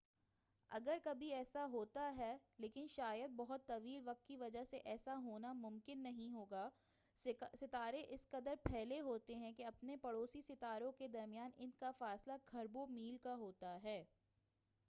اگر کبھی ایسا ہوتا ہے لیکن شاید بہت طویل وقت کی وجہ سے ایسا ہونا ممکن نہیں ہوگا ستارے اس قدر پھیلے ہوئے ہیں کہ اپنے پڑوسی ستاروں کے درمیان انکا فاصلہ کھربوں میل کا ہوتا ہے